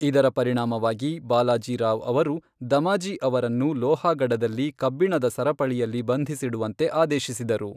ಇದರ ಪರಿಣಾಮವಾಗಿ, ಬಾಲಾಜಿ ರಾವ್ ಅವರು ದಮಾಜಿ ಅವರನ್ನು ಲೋಹಾಗಡದಲ್ಲಿ ಕಬ್ಬಿಣದ ಸರಪಳಿಯಲ್ಲಿ ಬಂಧಿಸಿಡುವಂತೆ ಆದೇಶಿಸಿದರು.